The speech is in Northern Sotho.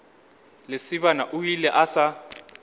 lesibana o ile a sa